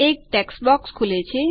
એક text box ખુલે છે